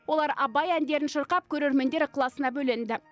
олар абай әндерін шырқап көрермендер ықыласына бөленді